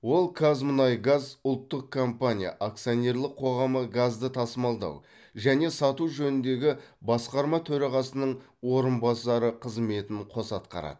ол қазмұнайгаз ұлттық компания акционерлік қоғамы газды тасымалдау және сату жөніндегі басқарма төрағасының орынбасары қызметін қоса атқарады